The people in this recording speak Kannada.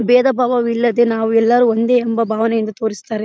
ಭೇದಬಾವವಿಲ್ಲದೆ ನಾವ್ ಎಲ್ಲಾರು ಒಂದೇ ಎಂಬ ಭಾವನೆಯಿಂದ ತೋರಸ್ತಾರೆ .